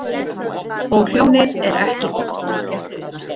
Og hljóðið er ekki gott.